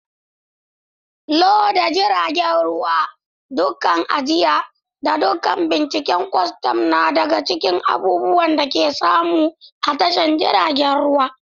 Loda jiragen ruwa, dakunan ajiya, da dakunan binciken kwastam na daga cikin abubuwan da ake samu a tashoshin jiragen ruwa.